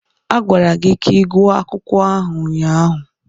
A gwara gị ka ịgwọ akwụkwọ ahụ ụnyaahụ.